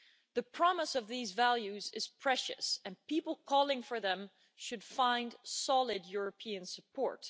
The promise of these values is precious and people calling for them should find solid European support.